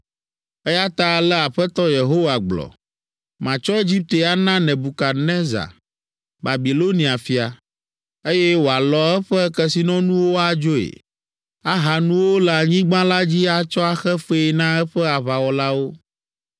Eya ta ale Aƒetɔ Yehowa gblɔ, ‘Matsɔ Egipte ana Nebukadnezar, Babilonia fia, eye wòalɔ eƒe kesinɔnuwo adzoe. Aha nuwo le anyigba la dzi atsɔ axe fee na eƒe aʋawɔlawo.